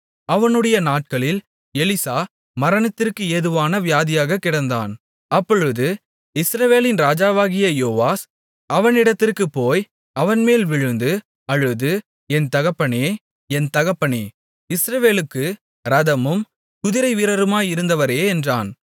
அவனுடைய நாட்களில் எலிசா மரணத்திற்கு ஏதுவான வியாதியாகக் கிடந்தான் அப்பொழுது இஸ்ரவேலின் ராஜாவாகிய யோவாஸ் அவனிடத்திற்குப் போய் அவன்மேல் விழுந்து அழுது என் தகப்பனே என் தகப்பனே இஸ்ரவேலுக்கு இரதமும் குதிரைவீரருமாயிருந்தவரே என்றான்